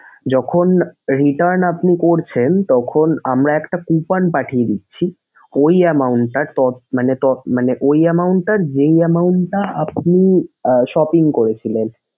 যখন return আপনি করছেন তখন আমরা একটা coupon পাথিয়ে দিচ্ছি ঐ amount টা টপ মানে টপ মানে ঐ amount টার main amount টা আপনি আহ shopping করেছিলেন।